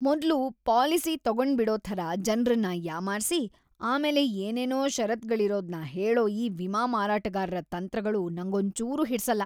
ಮೊದ್ಲು ಪಾಲಿಸಿ ತಗೊಂಡ್ಬಿಡೋ ಥರ ಜನ್ರನ್ನ ಯಾಮಾರ್ಸಿ ಆಮೇಲೆ ಏನೇನೋ ಷರತ್ತುಗಳಿರೋದ್ನ ಹೇಳೋ ಈ ವಿಮಾ ಮಾರಾಟಗಾರ್ರ ತಂತ್ರಗಳು ನಂಗೊಂಚೂರೂ ಹಿಡ್ಸಲ್ಲ.